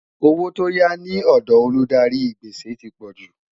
owó tó yá ní òdò Olùdarí gbèsè tí pojú